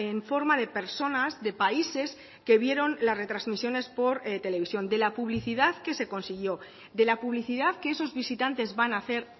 en forma de personas de países que vieron las retransmisiones por televisión de la publicidad que se consiguió de la publicidad que esos visitantes van a hacer